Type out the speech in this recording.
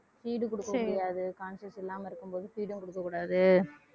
feed குடுக்க முடியாது conscious இல்லாம இருக்கும்போது feed ம் குடுக்கக் கூடாது